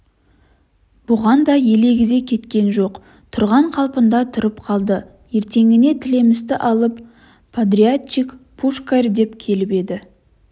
бұған да елегізе кеткен жоқ тұрған қалпында тұрып қалды ертеңіне тілемісті алып подрядчик пушкарь да келіп еді